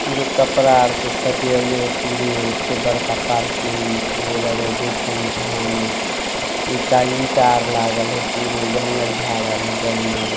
पुरे कपड़ा आर से सजेले हय पुरे ऐते बड़का पार्किंग पुरे लगे देखे में भायनक ईटा ही ईटा लागेल हे पुरे जंगल झार में जे मोल--